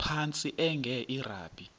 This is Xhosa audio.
phantsi enge lrabi